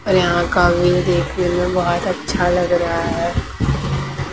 और यहां देखने में बहोत अच्छा लग रहा है।